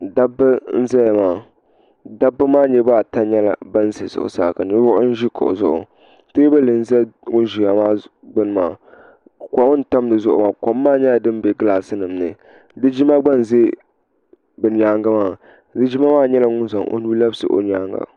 Dabba n zaya maa dabba maa niriba ata nyɛla ban ʒɛ zuɣusaa ka ninvuɣu yino ʒi kuɣu zuɣu teebuli n za ŋun ʒiya maa gbuni maa kɔm n tam di zuɣu kɔm maa nyɛla din bɛ gilaasi nim ni linjima gba n za bi nyaanga linjima maa nyɛla ŋun zaŋ o nuu labisi o nyaanga.